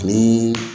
Ni